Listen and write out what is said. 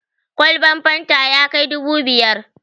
Kwalban fanta ya kai dubu biyar.